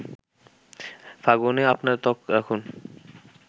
ফাগুনে আপনার ত্বক রাখুন